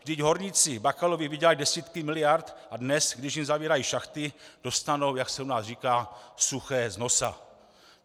Vždyť horníci Bakalovi vydělali desítky miliard a dnes, když jim zavírají šachty, dostanou, jak se u nás říká, suché z nosa.